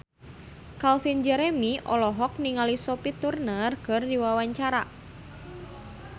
Calvin Jeremy olohok ningali Sophie Turner keur diwawancara